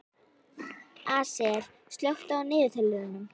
Asael, slökktu á niðurteljaranum.